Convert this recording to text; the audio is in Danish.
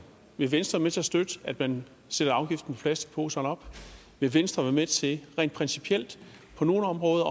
vil venstre være med til støtte at man sætter afgiften plastikposer op vil venstre være med til rent principielt på nogle områder